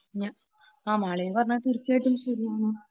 ആ, മാളവിക പറഞ്ഞത് തീർച്ചയായിട്ടും ശരിയാണ്.